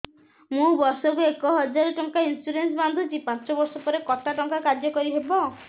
ମୁ ବର୍ଷ କୁ ଏକ ହଜାରେ ଟଙ୍କା ଇନ୍ସୁରେନ୍ସ ବାନ୍ଧୁଛି ପାଞ୍ଚ ବର୍ଷ ପରେ କଟା ଟଙ୍କା କାର୍ଯ୍ୟ କାରି ହେବ